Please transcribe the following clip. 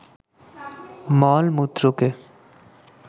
মল-মূত্রকে